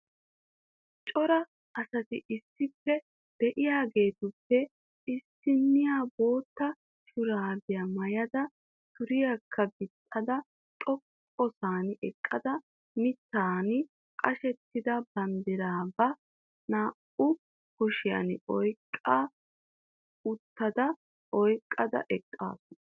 Cora asati issippe de"iyaageetuppe issiniya bootta shuraabiya maayada suriyaakka gixxada xoqqasan eqqada mittan qashettida banddiraa ba naa"u kushiyan xoqqu oottada oyqqada eqqaasu.